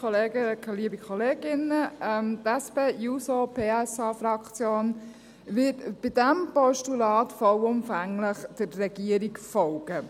Die SP-JUSO-PSA-Fraktion wird bei diesem Postulat vollumfänglich der Regierung folgen.